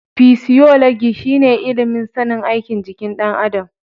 Fisiyolagi shi ne ilimin sanin aikin jikin ɗan adam.